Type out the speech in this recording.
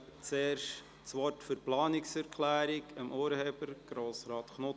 Ich gebe das Wort zur Begründung dessen Urheber, Grossrat Knutti.